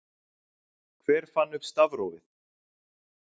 hver fann upp stafrófið